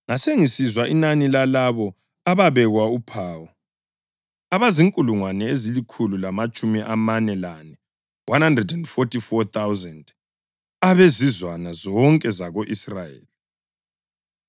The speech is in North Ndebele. Ngasengisizwa inani lalabo ababekwa uphawu: Abazinkulungwane ezilikhulu lamatshumi amane lane (144,000) abezizwana zonke zako-Israyeli.